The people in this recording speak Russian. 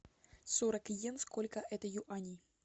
сорок йен сколько это юаней